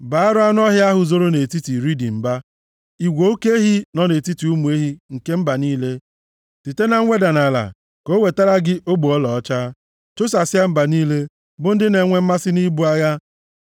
Baara anụ ọhịa ahụ zoro nʼetiti riidi mba, igwe oke ehi nọ nʼetiti ụmụ ehi nke mba niile. Site na nweda nʼala, ka o wetara gị ogbe ọlaọcha. Chụsasịa mba niile, bụ ndị na-enwe mmasị nʼibu agha.